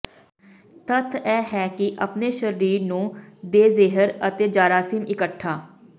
ਤੱਥ ਇਹ ਹੈ ਕਿ ਆਪਣੇ ਸਰੀਰ ਨੂੰ ਦੇਜ਼ਿਹਰ ਅਤੇ ਜਰਾਸੀਮ ਇਕੱਠਾ